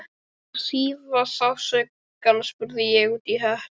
Til að svía sársaukann spurði ég útí hött